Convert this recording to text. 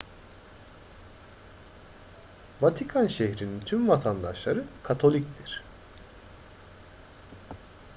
vatikan şehri'nin tüm vatandaşları katoliktir